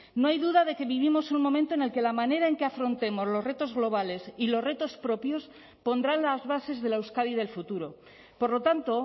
no hay duda de que vivimos un momento en el que la manera en que afrontemos los retos globales y los retos propios pondrán las bases de la euskadi del futuro por lo tanto